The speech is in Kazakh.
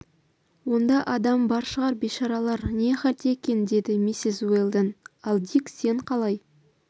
онда адам да бар шығар бейшаралар не халде екен деді миссис уэлдон ал дик сен қалай